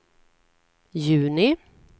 juni